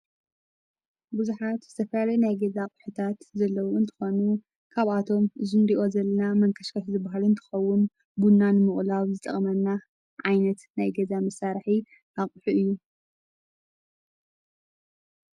ብዙኃት ዝተፈያል ናይ ገዛ ቕሑታት ዘለዉን ትኾኑ ካብ ኣቶም ዙንዲዮ ዘልና መንከሽከት ዝብሃልን ትኸውን ቡናንምቕላብ ዝጠቕመና ዓይነት ናይ ገዛ ምሣርሒ ኣቕሑ እዩ።